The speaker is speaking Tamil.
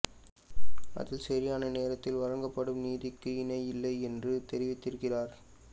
அதில் சரியான நேரத்தில் வழங்கப்படும் நீதிக்கு இணையில்லை என்று தெரிவித்திருக்கிறார்